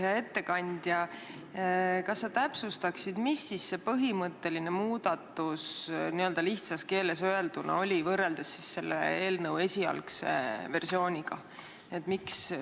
Hea ettekandja, kas sa täpsustaksid, mis see põhimõtteline muudatus n-ö lihtsas keeles öelduna oli, võrreldes selle eelnõu esialgse versiooniga?